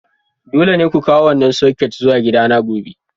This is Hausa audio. Dole ne ku kawo wannan soket zuwa gidana gobe!